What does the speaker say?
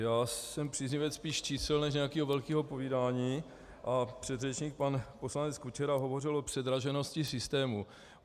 Já jsem příznivec spíš čísel než nějakého velkého povídání a předřečník pan poslanec Kučera hovořil o předraženosti systému.